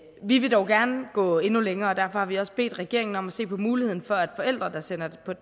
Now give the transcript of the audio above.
vi vil dog gerne gå endnu længere og derfor har vi også bedt regeringen om at se på muligheden for at forældre der sender